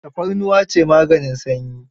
Tafarnuwa ce maganin sanyi.